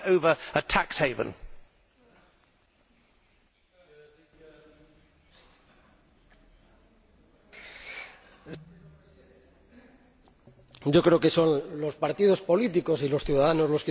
Yo creo que son los partidos políticos y los ciudadanos los que tienen que establecer sus procesos democráticos y yo, evidentemente, soy partidario de que las autoridades que forman parte del Sistema Europeo de Supervisión Financiera puedan llegar a intercambiar